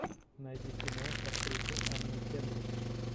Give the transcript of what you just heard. найди кино с актрисой анной кендрик